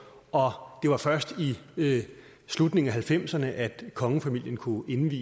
og det var først i i slutningen af nitten halvfemserne at kongefamilien kunne indvie